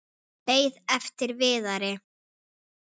Beið eftir Viðari.